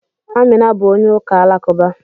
Amina bụ onye ụka Alakụba.